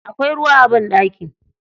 Akwai ruwa a banɗaki.